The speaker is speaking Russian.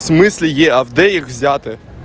в смысле е авдеев взяты